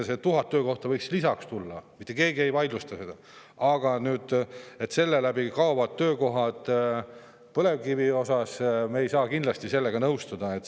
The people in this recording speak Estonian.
Need 1000 töökohta võiks lisaks tulla, mitte keegi ei vaidlusta seda, aga et samas kaovad töökohad põlevkivi tootmises – me ei saa kindlasti sellega nõustuda.